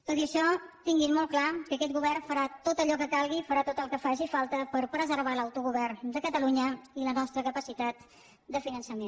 tot i això tinguin molt clar que aquest govern farà tot allò que calgui farà tot el que faci falta per preservar l’autogovern de catalunya i la nostra capacitat de finançament